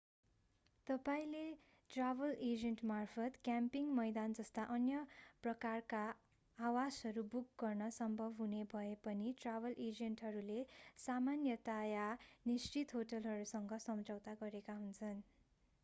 तपाईंले ट्राभल एजेन्टमार्फत क्याम्पिङ मैदान जस्ता अन्य प्रकारका आवासहरू बुक गर्न सम्भव हुने भए पनि ट्राभल एजेन्टहरूले सामान्यतया निश्चित होटलहरूसँग सम्झौता गरेका हुन्छन्